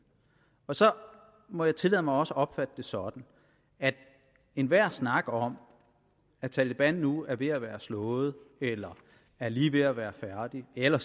så må jeg tillade mig også at opfatte det sådan at enhver snak om at taleban nu er ved at være slået eller er lige ved at være færdig eller